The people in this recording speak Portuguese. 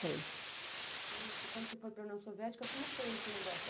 Nossa, e quando você foi para a União Soviética, como foi esse negócio?